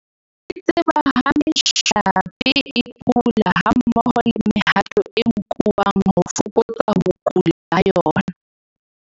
Di tseba ha mehlape e kula hammoho le mehato e nkuwang ho fokotsa ho kula ha yona.